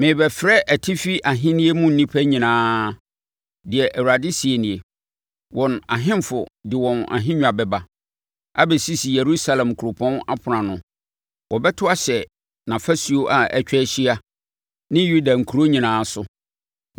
Merebɛfrɛ atifi ahennie mu nnipa nyinaa,” deɛ Awurade seɛ nie. “Wɔn ahemfo de wɔn ahennwa bɛba abɛsisi Yerusalem kuropɔn apono ano; wɔbɛto ahyɛ nʼafasuo a atwa ahyia ne Yuda nkuro nyinaa so.